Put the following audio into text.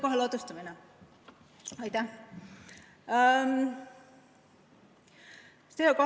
CO2 ladustamine?